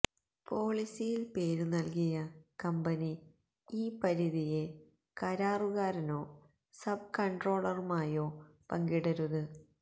പോളിസിയിൽ പേരുനൽകിയ കമ്പനി ഈ പരിധിയെ കരാറുകാരനോ സബ് കൺട്രോളറുമായോ പങ്കിടരുത്